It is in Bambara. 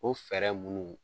O fɛɛrɛ munnu